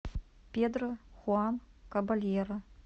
педро хуан кабальеро